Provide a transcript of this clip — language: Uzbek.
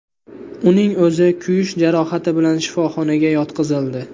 Uning o‘zi kuyish jarohati bilan shifoxonaga yotqizildi.